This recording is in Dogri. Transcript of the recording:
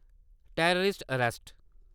terrorist arrest